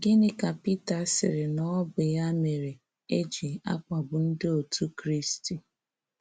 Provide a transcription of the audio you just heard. Gịnị ka Pita sịrị na ọ bụ ya mere, eji akpagbu ndị otú Kristi?